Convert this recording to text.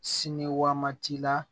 Siniwatila